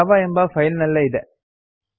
Java ಎಂಬ file ನಲ್ಲೇ ಇದೆ